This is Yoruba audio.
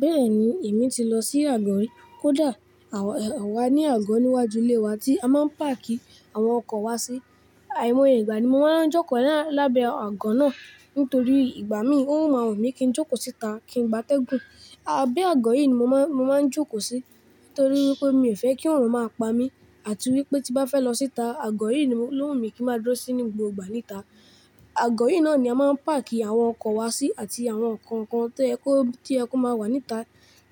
Bẹ́ẹ̀ni, èmi ti lọ sí àgọ́ rí. Kódà àwa ní àgọ́ níwájú ilé wa tí a máa ń páàkì àwọn ọkọ̀ wa sí. Àìmọye ìgbà ni mo máa ń jókòó lábẹ́ àgọ́ náà nítorí ìgbà mí ò máa wùnmi kí n jókòó síta kí n gbátẹ́gùn. Abẹ́ àgọ́ yìí ni mo máa ń jókòó sí nítorí wípé mi ò fẹ́ kí òorun máa pamí àti wípé tí bá fẹ́ lọ síta àgọ́ yìí ló wù mí kí ń má dúró sí ní gbogbo ìgbà níta. Àgọ́ yìí náà ni a máa ń páàkì àwọn ọkọ̀ wa sí àti àwọn ǹkankan to yẹ kó má wà níta